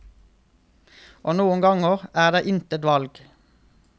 Og noen ganger er der intet valg.